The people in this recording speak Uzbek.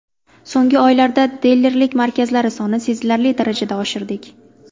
So‘nggi oylarda dilerlik markazlari sonini sezilarli darajada oshirdik.